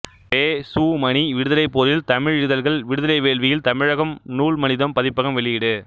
பெ சு மணி விடுதலைப் போரில் தமிழ் இதழ்கள் விடுதலை வேள்வியில் தமிழகம் நூல் மனிதம் பதிப்பகம் வெளியீடு